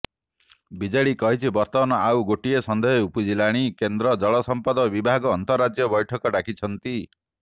BJD କହିଛି ବର୍ତ୍ତମାନ ଆଉ ଗୋଟିଏ ସନ୍ଦେହ ଉପୁଜିଲାଣି କେନ୍ଦ୍ର ଜଳ ସଂପଦ ବିଭାଗ ଆନ୍ତରାଜ୍ୟ ବୈଠକ ଡାକିଛନ୍ତି